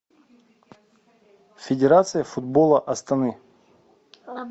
федерация футбола астаны